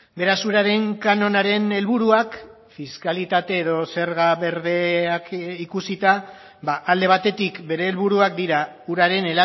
beraz uraren kanonaren helburuak fiskalitate edo zerga berdeak ikusita alde batetik bere helburuak dira uraren